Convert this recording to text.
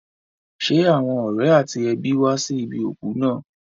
Ṣé àwọn ọ̀rẹ́ àti ẹbí wá sí ibi òkú náà?